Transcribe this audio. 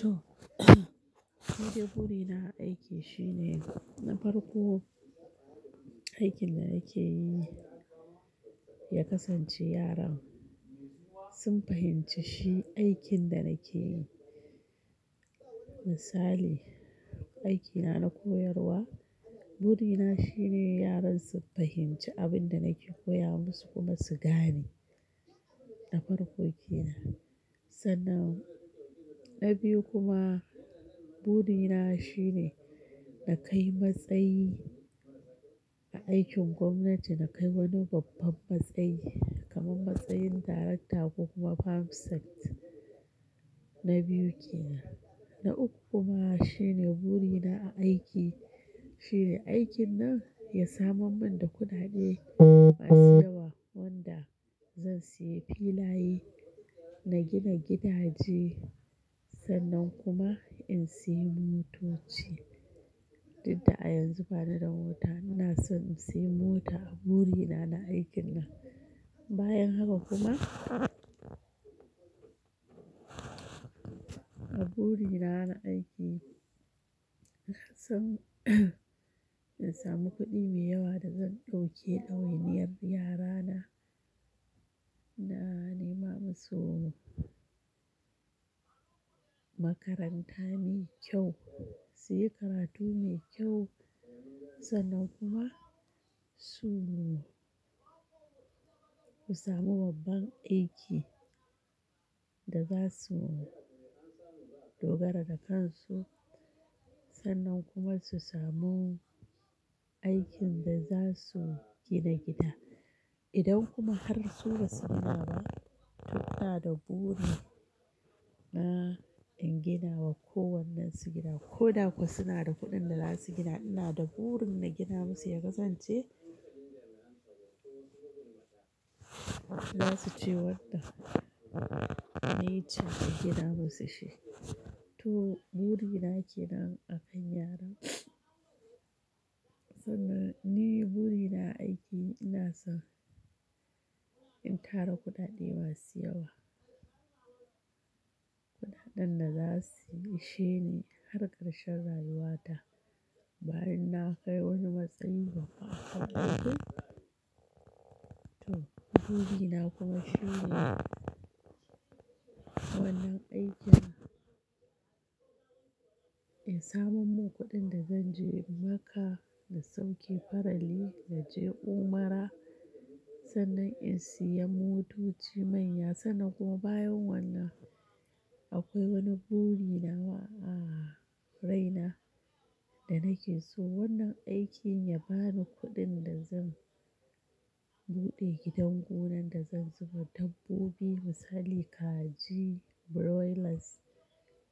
To, nide buri na aiki shine na farko, aikin da nake yi ya kasance yaran sun fahimci shi aikin da nake yi. Misali, aikina na koyarwa, buri na shine yaran su fahimci abin da nake koya musu kuma su gane na farko kenan. Sannan na biyu kuma buri na shine na kai matsayi a aikin gwamnati, na kai wani babban matsayi kamar matsayin darakta ko kuma perm sec na biyu kenan. Na uku kuma shine buri na a aiki shine aikin nan ya saman mun da kuɗaɗe masu yawa wanda zan sayi filaye, na gina gidaje sannan kuma in sayi motoci. Dudda a yanzu bani da mota ina son in siya mota, buri na na aikin nan. Bayan haka kuma a buri na na aiki, ina san in samu kuɗi mai yawa da zan dauke ɗawainiyar yarana, na nema musu makaranta mai kyau, suyi karatu mai kyau sannan kuma su, su samu babban aiki da za su dogara da kansu sannan kuma su samu aikin da za su gina gida. Idan kuma har su ba su gina ba, to ina da burin na in gina wa kowannensu gida. Ko da kuwa suna da kuɗin da za su gina, ina da burin na gina musu ya kasance, za su ce wannan niy ce nagina musu shi. To buri na ke nan akan yaran. Sannan ni buri na aiki ina son in tara kuɗaɗe masu yawa, kuɗaɗen da za su ishe ni har karshen rayuwata. Bayan na kai wani matsayi babba haka to buri na kuma shine wannan aikin ya saman mun kuɗin da zan je Makkah na sauke farali na je umara sannan in sayi motoci manya sannan kuma bayan wannan akwai wani buri na a raina da nake so wannan aikin ya bani kuɗin da zan buɗe gidan gonan da zan zuba dabbobi misali kaji, broilers